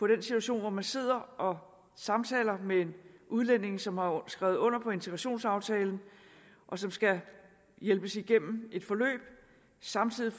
den situation hvor man sidder og samtaler med en udlænding som har skrevet under på en integrationsaftale og som skal hjælpes igennem et forløb og samtidig